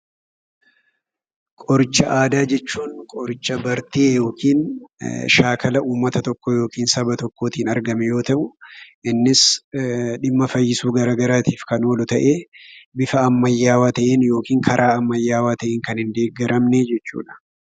Qoricha aadaa jechuun qoricha bartee yookiin shaakala uummata tokkoo yookiin saba tokkootin argame yemmuu ta'u, innis dhimma fayyisuu gara garaatiif kan oolu ta'ee, bifa ammayyaawaa ta'een yookiin karaa ammayyaawaa ta'een kan hindeeggaramne jechuudha.